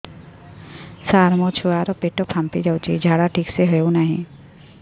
ସାର ମୋ ଛୁଆ ର ପେଟ ଫାମ୍ପି ଯାଉଛି ଝାଡା ଠିକ ସେ ହେଉନାହିଁ